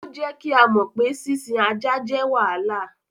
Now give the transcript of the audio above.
Ó jẹ́ kí á mọ pé sísìn ajá jẹ́ wàhálà.